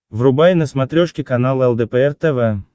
врубай на смотрешке канал лдпр тв